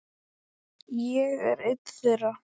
Ég er einn þeirra.